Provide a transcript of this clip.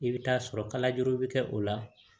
I bɛ taa sɔrɔ kalajuru bɛ kɛ o la